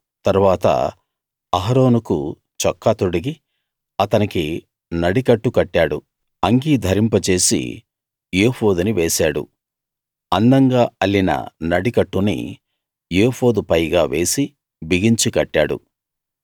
తరువాత అహరోనుకు చొక్కా తొడిగి అతనికి నడికట్టు కట్టాడు అంగీ ధరింపజేసి ఏఫోదుని వేశాడు అందంగా అల్లిన నడికట్టుని ఏఫోదు పైగా వేసి బిగించి కట్టాడు